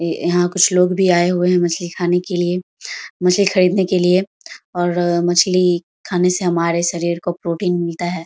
इ यहां कुछ लोग भी आये हुए है मछली खाने के लिए मछली खरीदने के लिए और मछली खाने से हमारे शरीर को प्रोटीन मिलता है।